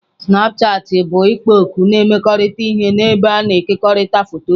Snapchatị bụ ikpo okwu na-emekọrịta ihe ebe a na-ekekọrịta foto.